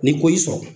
Ni ko y'i sɔrɔ